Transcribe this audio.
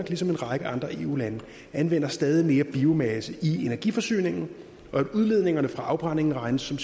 ligesom en række andre eu lande anvender stadig mere biomasse i energiforsyningen og at udledningerne fra afbrændingen regnes som